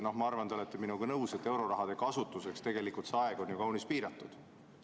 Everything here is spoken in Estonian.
Ma arvan, et te olete minuga nõus, et euroraha kasutuseks on aeg ju kaunis piiratud.